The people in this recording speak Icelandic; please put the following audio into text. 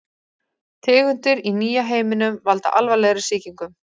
Tegundir í nýja heiminum valda alvarlegri sýkingum.